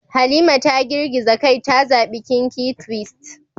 Halima ta girgiza kai ta zabi kinky twist